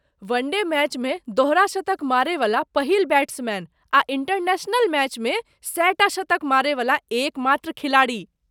One-day मैचमे दोहरा शतक मारयवला पहिल बैट्समैन आ इंटरनेशनल मैचमे सएटा शतक मारयवला एकमात्र खिलाड़ी।